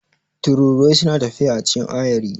Tururuwai suna tafiya a cikin ayari.